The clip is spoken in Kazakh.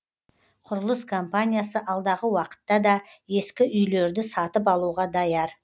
құрылыс компаниясы алдағы уақытта да ескі үйлерді сатып алуға даяр